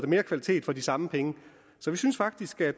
mere kvalitet for de samme penge så vi synes faktisk at